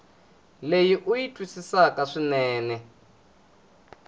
leyi u yi twisisaka swinene